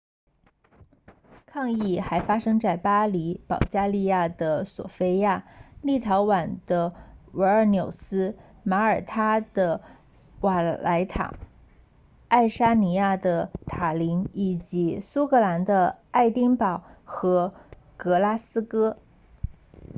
抗议还发生在巴黎保加利亚的索非亚立陶宛的维尔纽斯马耳他的瓦莱塔爱沙尼亚的塔林以及苏格兰的爱丁堡和格拉斯哥